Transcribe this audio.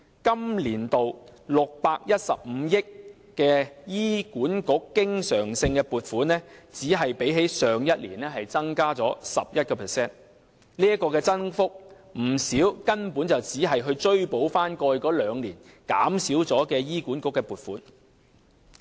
本年度615億元的醫管局經常性撥款只比去年增加 11%， 其中不少根本只是追補過去兩年減少了的醫管局的撥款。